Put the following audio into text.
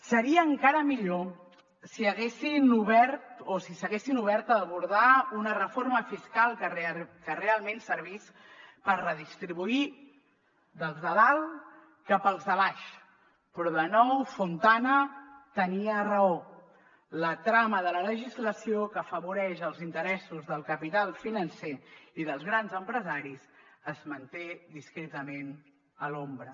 seria encara millor si s’haguessin obert a abordar una reforma fiscal que realment servís per redistribuir dels de dalt cap als de baix però de nou fontana tenia raó la trama de la legislació que afavoreix els interessos del capital financer i dels grans empresaris es manté discretament a l’ombra